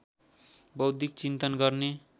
बौद्धिक चिन्तन गर्ने